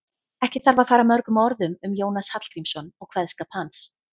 Ekki þarf að fara mörgum orðum um Jónas Hallgrímsson og kveðskap hans.